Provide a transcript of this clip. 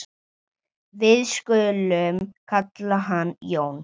Við skulum kalla hann Jón.